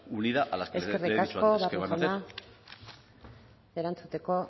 unida a la eskerrik asko barrio jauna erantzuteko